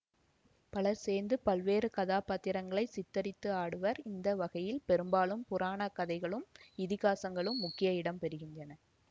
பலர் சேர்ந்து பல்வேறு கதாபாத்திரங்களைச் சித்தரித்து ஆடுவர் இந்த வகையில் பெரும்பாலும் புராணக்கதைகளும்இதிகாசங்களும் முக்கிய இடம் பெறுகின்றன